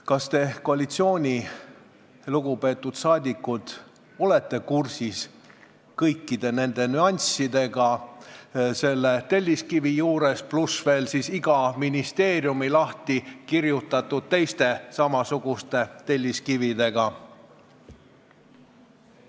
Kas te, lugupeetud koalitsioonisaadikud, olete kursis kõikide nüanssidega selles telliskivis, pluss veel teiste samasuguste, ministeeriumite lahtikirjutatud telliskividega?